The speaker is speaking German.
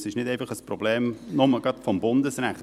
Es ist nicht einfach ein Problem des Bundesrechts.